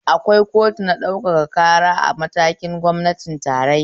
Akwai kotunan ɗaukaka ƙara a matakin gwamnatin tarayya